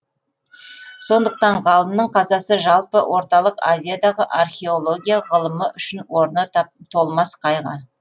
сондықтан ғалымның қазасы жалпы орталық азиядағы археология ғылымы үшін орны толмас қайғы